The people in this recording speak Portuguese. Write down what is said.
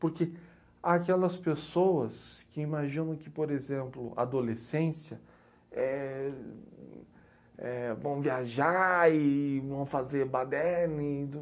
Porque há aquelas pessoas que imaginam que, por exemplo, adolescência, éh... vão viajar e vão fazer baderne